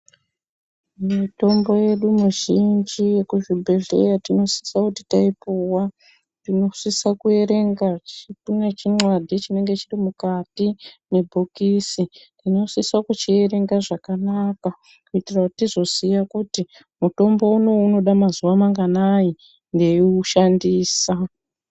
Mitombo yedu mizhinji yekuzvibhedhleya tinosisa kuti taipuwa, tinosisa kuerenga- kune chinxadhi chiri mwukati mebhokisi, tinosisa kuchierenga zvakanaka kuitira kuti tizoziya kuti mutombo uno uyu unoda mazuva manganai ndeiushandisa.